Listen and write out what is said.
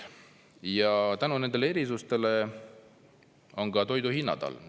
Ja tänu nendele erisustele on ka toiduhinnad all.